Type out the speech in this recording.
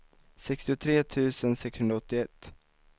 sextiotre tusen sexhundraåttioett